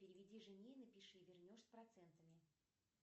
переведи жене и напиши вернешь с процентами